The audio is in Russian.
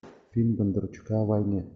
фильм бондарчука о войне